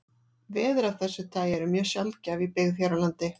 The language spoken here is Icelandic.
Veður af þessu tagi eru mjög sjaldgæf í byggð hér á landi.